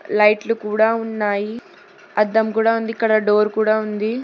లైట్లు కూడా ఉన్నాయి అద్దం కూడా ఉంది ఇక్కడ డోర్ కూడా ఉంది.